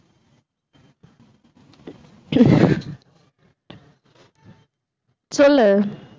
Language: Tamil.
சொல்லு.